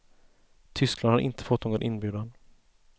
Tyskland har inte fått någon inbjudan.